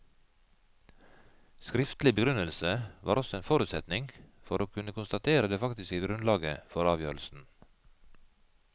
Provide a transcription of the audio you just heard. Skriftlig begrunnelse var også en forutsetning for å kunne konstatere det faktiske grunnlaget for avgjørelsen.